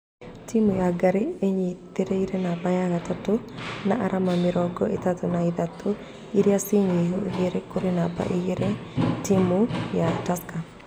Timu ya ngare ĩnyiterĩire namba ya gatatũ na arama mĩrongo ĩtatũ na ithatu ĩria ci nyihu igĩrĩ kũrĩ namba igĩrĩ timu ya tusker.